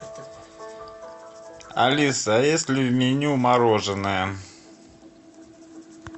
алиса а есть ли в меню мороженое